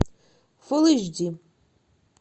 фулл эйч ди